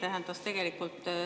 See tähendas tegelikult …